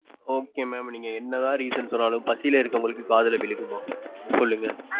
Okay mam நீங்க என்னதான் reason சொன்னாலும் பசியிலே இருக்கிறவங்களுக்கு காதுல விழுகுமா சொல்லுங்க?